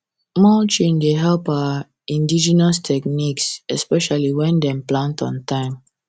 mulching dey help our indigenous techniques especially when dem plant on time